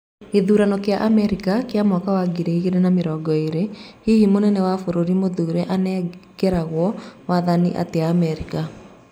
Gĩthurano kĩa Amerika kĩa mwaka wa ngiri igĩrĩ na mĩrongo ĩrĩ. Hihi Mũnene wa bũrũri mũthure anegerago wathani atĩa Amerika.